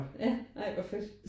Ja ej hvor fedt